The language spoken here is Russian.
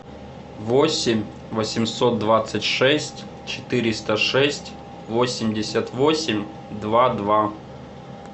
восемь восемьсот двадцать шесть четыреста шесть восемьдесят восемь два два